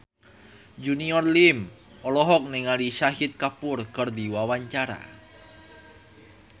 Junior Liem olohok ningali Shahid Kapoor keur diwawancara